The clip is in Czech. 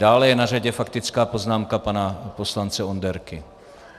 Dále je na řadě faktická poznámka pana poslance Onderky.